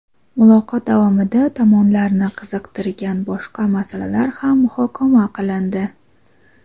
Muloqot davomida tomonlarni qiziqtirgan boshqa masalalar ham muhokama qilindi.